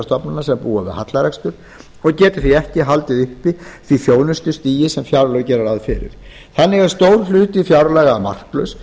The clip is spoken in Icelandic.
stofnana sem búa við hallarekstur og geta því ekki haldið uppi því þjónustustigi sem fjárlög gera ráð fyrir þannig er stór hluti fjárlaga marklaus